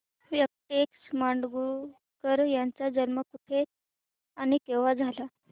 व्यंकटेश माडगूळकर यांचा जन्म कुठे आणि केव्हा झाला